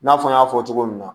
I n'a fɔ n y'a fɔ cogo min na